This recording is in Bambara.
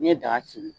N'i ye daga sigi